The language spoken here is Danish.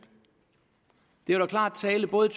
det var da klar tale både